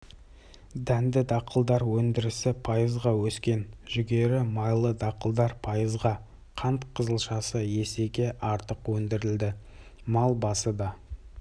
дәнді-дақылдар өндірісі пайызға өскен жүгері майлы дақылдар пайызға қант қызылшасы есеге артық өндірілді мал басы да